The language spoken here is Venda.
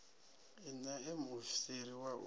i ṋee muofisiri wa u